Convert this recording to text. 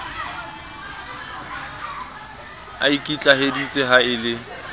a ikitlaheditse ha e le